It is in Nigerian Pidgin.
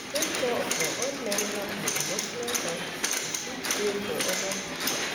Take care of your own mental and emotional health to fit dey for other pipo